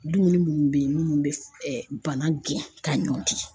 Dumuni munnu be yen n'u be bana gɛn ka ɲɔn di.